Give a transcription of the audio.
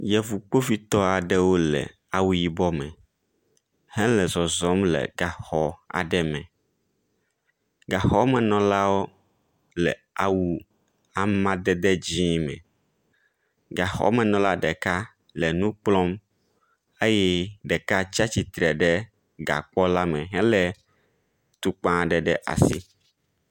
Yevu kpovitɔ aɖewo le awu yibɔ me hele zɔzɔm le gaxɔ aɖe me. Gaxɔmenɔlawo le awu amadede dzi me. Gaxɔmenɔla ɖe le enu kplɔm eye ɖeka tsi atsitre ɖe gakpɔ la me hele atukpa ɖe asi.